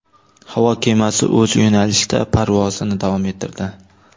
Havo kemasi o‘z yo‘nalishida parvozini davom ettirdi.